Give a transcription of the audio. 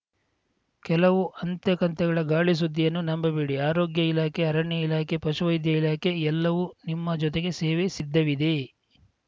ಕೆಲವು ಅಂತೆ ಕಂತೆಗಳ ಗಾಳಿ ಸುದ್ದಿಯನ್ನು ನಂಬಬೇಡಿ ಆರೋಗ್ಯ ಇಲಾಖೆ ಅರಣ್ಯ ಇಲಾಖೆ ಪಶುವೈದ್ಯ ಇಲಾಖೆ ಎಲ್ಲವೂ ನಿಮ್ಮ ಜೊತೆಗೆ ಸೇವೆಗೆ ಸಿದ್ದವಾಗಿದೆ